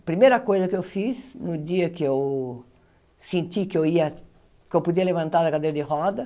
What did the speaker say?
Primeira coisa que eu fiz, no dia que eu senti que eu ia que eu podia levantar da cadeira de rodas,